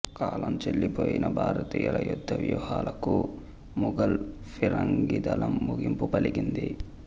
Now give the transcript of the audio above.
కాలంచెల్లిపోయిన భారతీయుల యుద్ధ వ్యూహాలకు ముగల్ ఫిరంగి దళం ముగింపు పలికింది